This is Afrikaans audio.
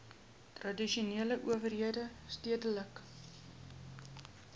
tradisionele owerhede stedelike